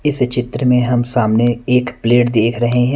इस चित्र में हम सामने एक प्लेट देख रहे--